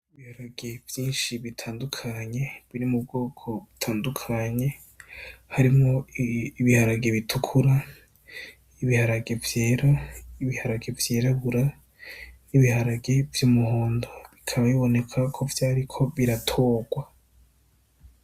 Ibiharage vyinshi bitandukanye biri mu bwoko butandukanye harimwo ibiharage bitukura, ibiharage vyera, ibiharage vy'irabura n'ibiharage vy'umuhondo bikaba biboneka ko vyari biriko biratorwa.